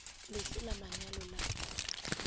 le fe la manyalo la